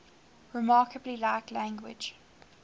remarkably like language